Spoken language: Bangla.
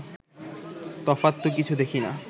তফাৎ তো কিছু দেখি না